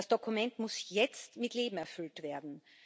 Das Dokument muss jetzt mit Leben erfüllt werden.